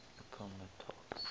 appomattox